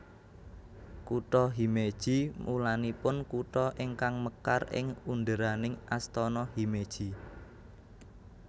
Kutha Himeji mulanipun kutha ingkang mekar ing underaning Astana Himeji